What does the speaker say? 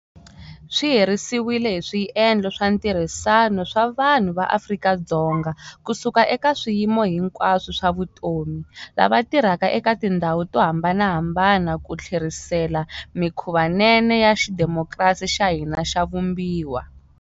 Swi herisiwile hi swiendlo swa ntirhisano swa vanhu va Afrika-Dzonga kusuka eka swiyimo hinkwaswo swa vutomi, lava tirhaka eka tindhawu to hambanahambana ku tlherisela mikhuvanene ya xidemokirasi xa hina xa vumbiwa.